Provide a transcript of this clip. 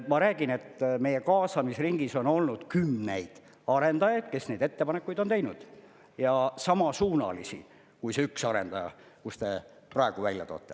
Ma räägin, et meie kaasamisringis on olnud kümneid arendajaid, kes neid ettepanekuid on teinud, ja samasuunalisi kui see üks arendaja, kus te praegu välja toote.